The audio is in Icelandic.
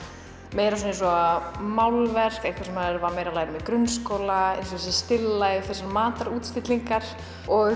meira svona eins og málverk eitthvað sem maður var meira að læra um í grunnskóla þessi still life matarútstillingar og